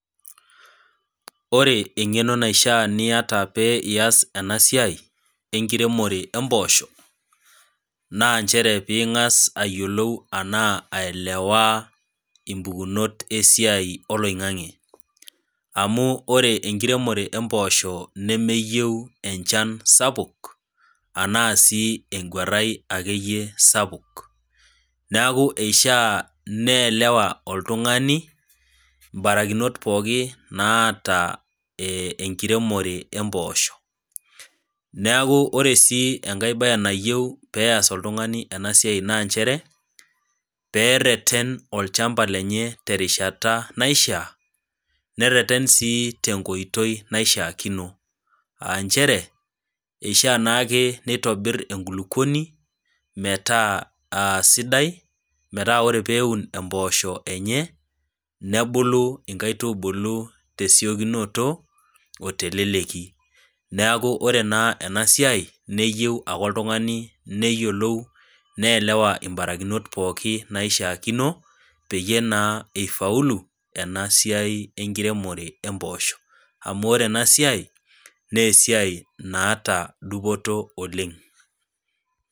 Ore engeno naisha piita peias enasia enkiremore ompoosho nanchere pingasa ayiolou ashu ailewa impukunot esiai oloingangi amu ore enkiremoto empoosho nemeyiieu enchan sapuk ashu akeyie engwaran sapuk neaku ishaa nielewa oltungani barikinot pookin naata enkiremore ompoosho neaku ore si enkae bae nayieu peas oltungani enabae na nchere pereten olchamba lenye terishata naishaa nerert si tenkoitoi naishaakino aa nchere ishaa naake nitobir enkulukuoni metaa aa sidai metaa ore peun embosho enye nebulu nkaitubulu tesiokinoto oteleleki neaku ore enasiai neyieu oltungani neyiolou nielewa mbarikinot pooki naishaakino peyie na ifaulu enasiai enkiremore ompoosho amu ore enasiai na esiai naata dupoto oleng.